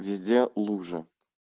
везде лужа